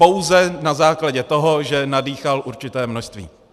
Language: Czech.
Pouze na základě toho, že nadýchal určité množství.